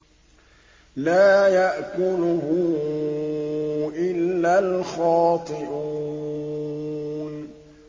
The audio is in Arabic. لَّا يَأْكُلُهُ إِلَّا الْخَاطِئُونَ